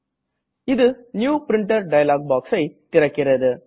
இது new printer dialog boxஐ திறக்கிறது